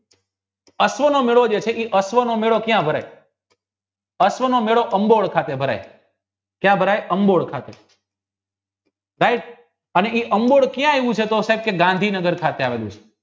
અશ્વનો મેળો છે એ ક્યાં ભરાય અશ્વનો મેળો અંબોય ખાતે ભરાય right અંબોયક્યાં આવ્યું છે ગાંધીનગર ખાતે